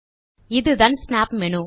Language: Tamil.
இதுதான் ஸ்னாப் மேனு